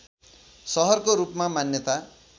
सहरको रूपमा मान्यता